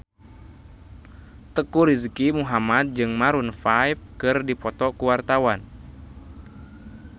Teuku Rizky Muhammad jeung Maroon 5 keur dipoto ku wartawan